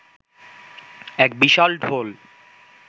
এক বিশাল ঢোল